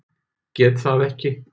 Get það ekki.